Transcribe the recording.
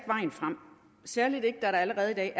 vejen frem særlig ikke da der allerede i dag